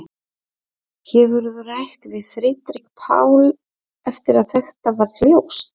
Hefurðu rætt við Friðrik Pál eftir að þetta varð ljóst?